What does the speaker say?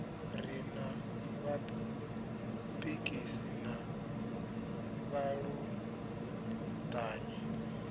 ri na vhapikisi na vhaluṱanyi